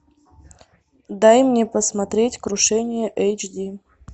дай мне посмотреть крушение эйч ди